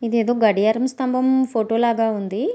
ఇది ఎదో గడియారం స్తంభం ఫోటో లాగా ఉంధీ.